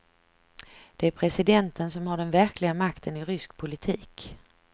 Det är presidenten som har den verkliga makten i rysk politik.